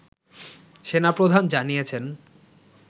সেনা প্রধান জানিয়েছেন